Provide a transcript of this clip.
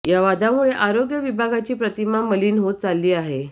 या वादामुळे आरोग्य विभागाची प्रतिमा मलीन होत चालली आहे